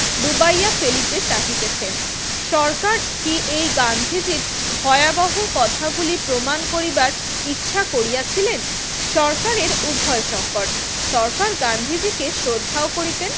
ডুবাইয়া ফেলিতে চাহিতেছে। সরকার কি এই গান্ধীজির ভয়াবহ কথাগুলি প্রমাণ করিবার ইচ্ছা করিয়াছিলেন? সরকারের উভয়সঙ্কট। সরকার গান্ধীজিকে শ্রদ্ধাও করিতেন